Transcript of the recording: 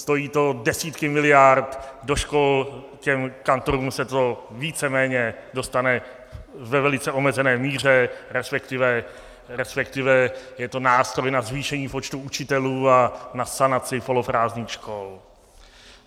Stojí to desítky miliard do škol, těm kantorům se to víceméně dostane ve velice omezené míře, respektive je to nástroj na zvýšení počtu učitelů a na sanaci poloprázdných škol.